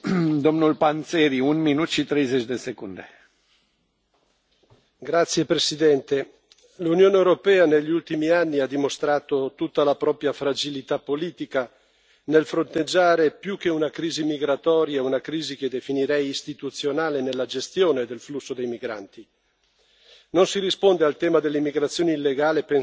Signor Presidente, onorevoli colleghi, l'Unione europea negli ultimi anni ha dimostrato tutta la propria fragilità politica nel fronteggiare più che una crisi migratoria una crisi che definirei istituzionale nella gestione del flusso dei migranti. Non si risponde al tema dell'immigrazione illegale pensando a politiche di chiusura